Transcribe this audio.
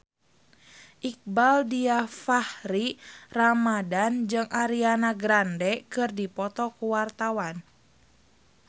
Iqbaal Dhiafakhri Ramadhan jeung Ariana Grande keur dipoto ku wartawan